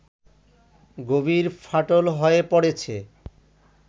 গভীর ফাটল হয়ে পড়েছে